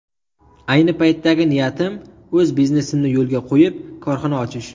Ayni paytdagi niyatim o‘z biznesimni yo‘lga qo‘yib, korxona ochish.